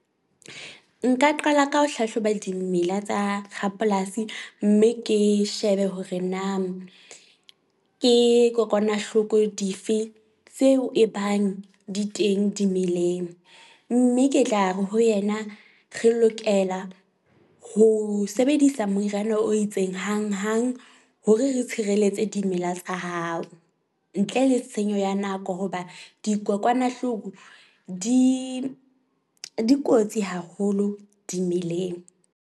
Nka qala ka ho hlahloba dimela tsa rapolasi, mme ke shebe hore na ke kokwanahloko dife tseo ebang di teng di meleng. Mme ke tla re ho yena, re lokela ho sebedisa moriana o itseng hanghang hore re tshireletse dimela tsa hao ntle le tshenyo ya nako. Hoba dikokwanahloko di di kotsi haholo dimeleng.